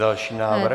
Další návrh.